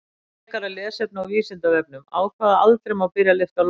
Frekara lesefni á Vísindavefnum: Á hvaða aldri má byrja að lyfta lóðum?